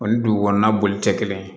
O ni dugu kɔnɔna boli tɛ kelen ye